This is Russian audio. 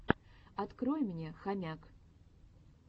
открой мне хомяк